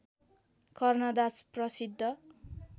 कर्णदास प्रसिद्ध